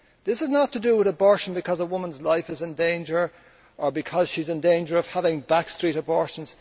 This is not to do with abortion because a woman's life is in danger, or because she is in danger of having a back street abortion.